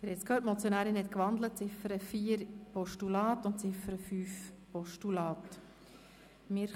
Sie haben es gehört, die Motionärin hat die Ziffern 4 und 5 in ein Postulat umgewandelt.